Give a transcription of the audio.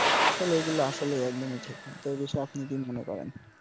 আসলে এইগুল আসলেই একদম ঠিক না তো এই বিষয়ে আপনি কি মনে করেন